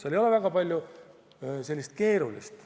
Seal ei ole väga palju keerulist.